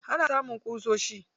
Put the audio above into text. Ana samun ƙusoshi